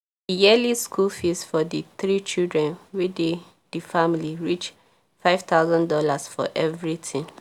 di yearly school fees for di three children wey dey di family reach reach five thousand dollars for everything